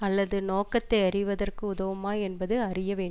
அல்லது நோக்கத்தை அறிவதற்கு உதவுமா என்பது அறிய வேண்